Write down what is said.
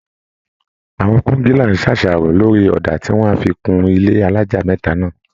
Àwọn kọńgílá ń ṣàṣàrò lórì ọ̀dà tí wọ́n á fi kun ilé alájà mẹ́ta náà